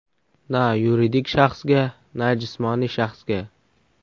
Na yuridik shaxsga, na jismoniy shaxsga.